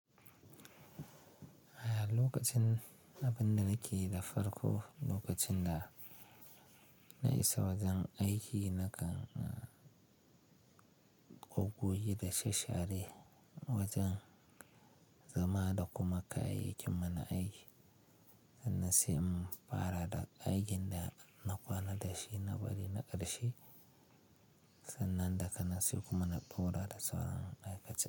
A lokacin abin da nakeyi da farko lokacin da na isa wajen aiki na kan, ƙoggoge da sha-share wajen zama da kuma kayayyakin mana aiki sannan sai in fara da aikin da na kwana da shi na bari na ƙarshe, sannan daga nan sai kuma na tura da sauran aikacen.